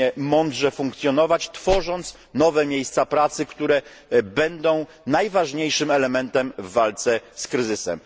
mądrze funkcjonować, tworząc nowe miejsca pracy, które będą najważniejszym elementem w walce z kryzysem.